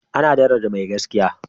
ana daraja mai gaskiya